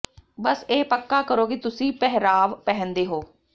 ਬਸ ਇਹ ਪੱਕਾ ਕਰੋ ਕਿ ਤੁਸੀਂ ਪਹਿਰਾਵ ਪਹਿਨਦੇ ਹੋ